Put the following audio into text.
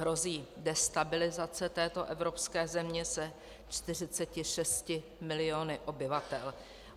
Hrozí destabilizace této evropské země se 46 miliony obyvatel.